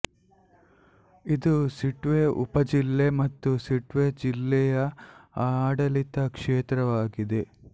ಇದು ಸಿಟ್ವೆ ಉಪಜಿಲ್ಲೆ ಮತ್ತು ಸಿಟ್ವೆ ಜಿಲ್ಲೆಯ ಆಡಳಿತ ಕ್ಷೇತ್ರವಾಗಿದೆ